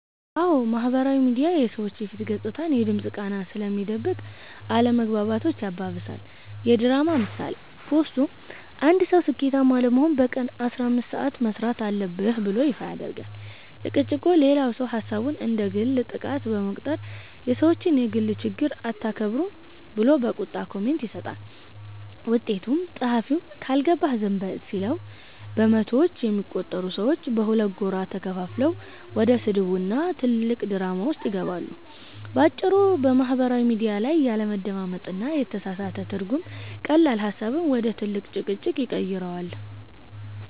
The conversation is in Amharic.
አዎ፣ ማህበራዊ ሚዲያ የሰዎችን የፊት ገጽታና የድምፅ ቃና ስለሚደብቅ አለመግባባቶችን ያባብሳል። የድራማ ምሳሌ፦ ፖስቱ፦ አንድ ሰው "ስኬታማ ለመሆን በቀን 15 ሰዓት መሥራት አለብህ" ብሎ ይፋ ያደርጋል። ጭቅጭቁ፦ ሌላው ሰው ሐሳቡን እንደ ግል ጥቃት በመቁጠር "የሰዎችን የግል ችግር አታከብሩም" ብሎ በቁጣ ኮሜንት ይሰጣል። ውጤቱ፦ ጸሐፊው "ካልገባህ ዝም በል" ሲለው፣ በመቶዎች የሚቆጠሩ ሰዎች በሁለት ጎራ ተከፍለው ወደ ስድብና ትልቅ ድራማ ውስጥ ይገባሉ። ባጭሩ፤ በማህበራዊ ሚዲያ ላይ ያለመደማመጥና የተሳሳተ ትርጉም ቀላል ሐሳብን ወደ ትልቅ ጭቅጭቅ ይቀይረዋል።